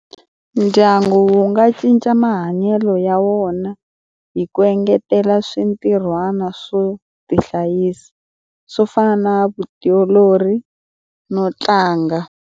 Ndyangu wu nga cinca mahanyelo ya wona hi ku engetela swintirhwana swo tihlayisa, swo fana na vutiolori no tlanga.